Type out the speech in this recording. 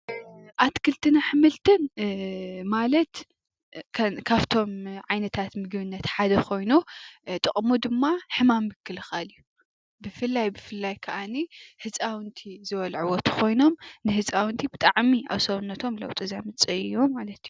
ኣትክልትን ኣሕምልትን ማለት ካብቶም ዓይነታት ምግብነት ሓደ ኾይኑ ጥቕሙ ድማ ሕማም ምክልኻል እዩ። ብፍላይ ብፍላይ ከዓኒ ህፃውንቲ ዝበልዕዎ እንተኾይኖም ንህፃውንቲ ብጣዕሚ ኣብ ሰውነቶም ለዉጢ ዘምፅእ እዩ ማለት እዩ።